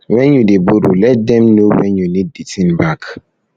when you dey borrow let dem know when you need the thing back